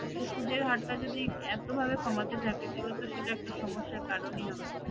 তো সুদের হারটা যদি এতভাবে কমাতে থাকে তাহলে তো সেটা একটা সমস্যার কারণই হবে